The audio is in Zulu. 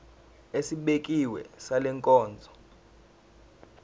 esibekiwe sale nkonzo